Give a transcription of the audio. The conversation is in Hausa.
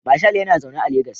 Marshal yana zaune a Legas